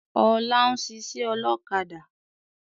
Ọlá ń ṣiṣẹ́ ọlọ́kadà